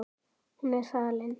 Hún er farin.